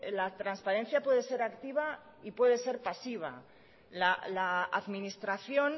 la transparencia puede ser activa y puede ser pasiva la administración